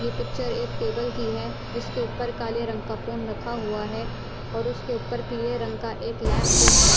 ये पिक्चर एक टेबल की है जिसके ऊपर काले रंग का फोन रखा हुआ है और उसके ऊपर पीले रंग का एक लैंप भी है।